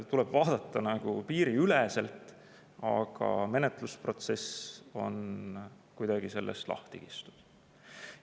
Tuleb vaadata nagu piiriüleselt, aga menetlusprotsess on kuidagi sellest lahti kistud.